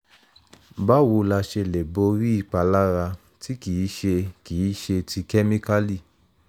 báwo la ṣe lè borí ìpalára tí kì í ṣe kì í ṣe ti kemikali?